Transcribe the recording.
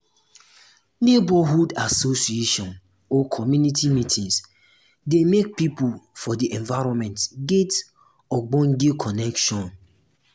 neighborhood association or community meetings dey make pipo for di environment get ogbonge connection